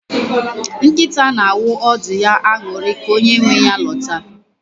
Nkịta na-awụ ọdụ ya aṅụrị ka onye nwe ya lọta.